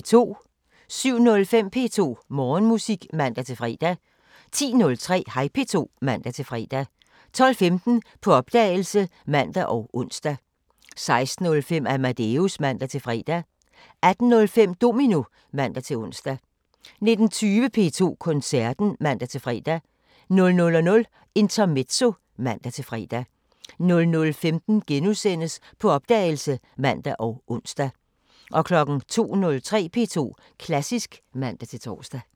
07:05: P2 Morgenmusik (man-fre) 10:03: Hej P2 (man-fre) 12:15: På opdagelse (man og ons) 16:05: Amadeus (man-fre) 18:05: Domino (man-ons) 19:20: P2 Koncerten (man-fre) 00:05: Intermezzo (man-fre) 00:15: På opdagelse *(man og ons) 02:03: P2 Klassisk (man-tor)